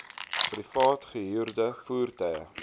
privaat gehuurde voertuie